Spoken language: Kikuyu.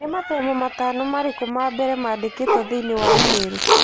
Nĩ mathomo matano marĩkũ mambere mandĩkatwo thĩinĩ wa i-mīrū?